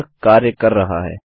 यह कार्य कर रहा है